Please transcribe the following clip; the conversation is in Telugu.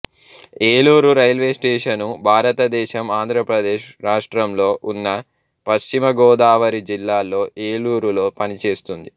ఏలూరు రైల్వే స్టేషను భారతదేశం ఆంధ్ర ప్రదేశ్ రాష్ట్రంలో ఉన్న పశ్చిమ గోదావరి జిల్లాలో ఏలూరులో పనిచేస్తుంది